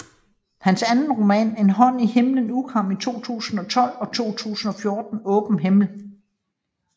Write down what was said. Hans anden roman En hånd i himlen udkom i 2012 og i 2014 Åben himmel